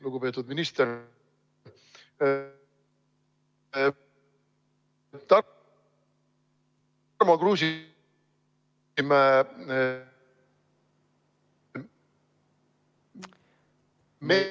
Lugupeetud minister!